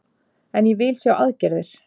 En ég vil sjá aðgerðir